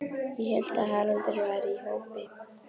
Ég hélt að Haraldur væri í hópi